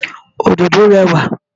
Òdòdó rẹwà.